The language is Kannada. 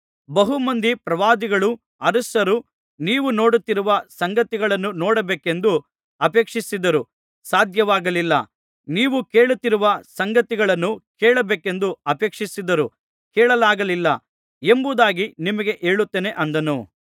ಬಹು ಮಂದಿ ಪ್ರವಾದಿಗಳೂ ಅರಸರೂ ನೀವು ನೋಡುತ್ತಿರುವ ಸಂಗತಿಗಳನ್ನು ನೋಡಬೇಕೆಂದು ಅಪೇಕ್ಷಿಸಿದರೂ ಸಾಧ್ಯವಾಗಲಿಲ್ಲ ನೀವು ಕೇಳುತ್ತಿರುವ ಸಂಗತಿಗಳನ್ನು ಕೇಳಬೇಕೆಂದು ಅಪೇಕ್ಷಿಸಿದರೂ ಕೇಳಲಾಗಲಿಲ್ಲ ಎಂಬುದಾಗಿ ನಿಮಗೆ ಹೇಳುತ್ತೇನೆ ಅಂದನು